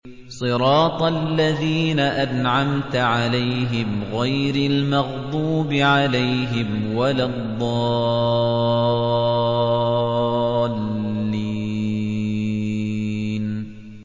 صِرَاطَ الَّذِينَ أَنْعَمْتَ عَلَيْهِمْ غَيْرِ الْمَغْضُوبِ عَلَيْهِمْ وَلَا الضَّالِّينَ